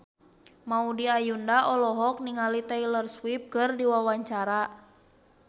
Maudy Ayunda olohok ningali Taylor Swift keur diwawancara